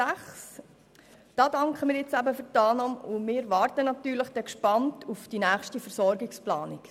Bei Ziffer 6 danken wir für die Annahme und warten natürlich gespannt auf die nächste Versorgungsplanung.